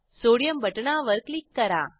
sodium बटणावर click करा